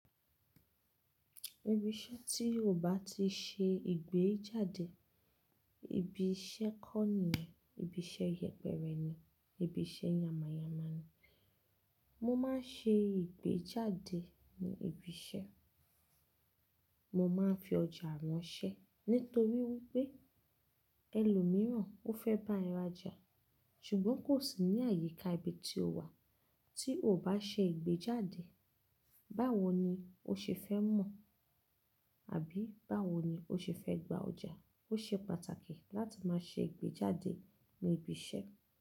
Ibí iṣẹ́ tí ó bá ti ṣe ìgbéjáde, ibi iṣẹ́ kọ́ nìyẹn, ibi iṣẹ́ yẹpẹrẹ ni, ibi iṣẹ́ yama yama ni. Mo máa ń ṣe ìgbéjáde ní ibi iṣẹ́. Mo máa ń fi ọjà ránṣẹ́ nítorí wípé ẹlòmíràn ó fẹ́ bá ẹ rajà ṣùgbọ́n kò sí ní àyíká ibi tí o wà tí o ò bá ṣe ìgbéjáde. Báwo ni o ṣe fẹ́ mọ̀? Àbí báwo ni o ṣe fẹ́ gba ọjà? Ó ṣe pàtàkì láti máa ṣe ìgbéjáde ní ibi iṣẹ́.